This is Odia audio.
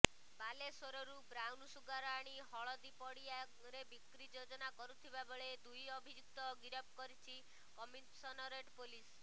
ବାଲେଶ୍ୱରରୁ ବ୍ରାଉନସୁଗାର ଆଣି ହଳିଦିପଡିଆରେ ବିକ୍ରି ଯୋଜନା କରୁଥିବାବେଳେ ଦୁଇ ଅଭିଯୁକ୍ତ ଗିରଫ କରିଛି କମିଶନରେଟ୍ ପୋଲିସ୍